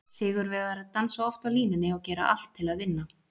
Sigurvegarar dansa oft á línunni og gera allt til að vinna.